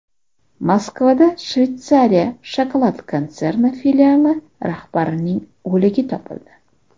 Moskvada Shveysariya shokolad konserni filiali rahbarining o‘ligi topildi.